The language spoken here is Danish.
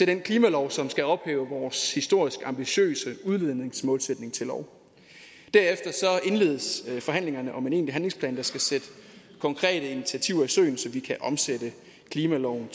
den klimalov som skal ophæve vores historisk ambitiøse udledningsmålsætning til lov derefter indledes forhandlingerne om en egentlig handlingsplan der skal sætte konkrete initiativer i søen så vi kan omsætte klimaloven